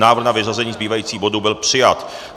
Návrh na vyřazení zbývajících bodů byl přijat.